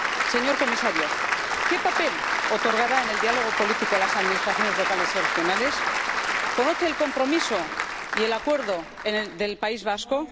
Señor Comisario, ¿qué papel otorgará en el diálogo político a las administraciones locales y regionales? ¿Conoce el compromiso y el acuerdo del País Vasco?